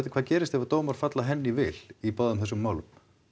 hvað gerist ef að dómar falla henni í vil í báðum þessum málum